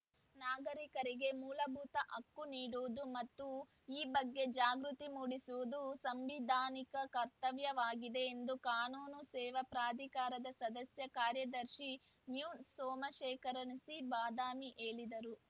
ನಾಗರಿಕರಿಗೆ ಮೂಲಭೂತ ಹಕ್ಕು ನೀಡುವುದು ಮತ್ತು ಈ ಬಗ್ಗೆ ಜಾಗೃತಿ ಮೂಡಿಸುವುದು ಸಾಂವಿಧಾನಿಕ ಕರ್ತವ್ಯವಾಗಿದೆ ಎಂದು ಕಾನೂನು ಸೇವಾ ಪ್ರಾಧಿಕಾರದ ಸದಸ್ಯ ಕಾರ್ಯದರ್ಶಿ ನ್ಯೂ ಸೋಮಶೇಖರ್‌ ಸಿ ಬಾದಾಮಿ ಹೇಳಿದರು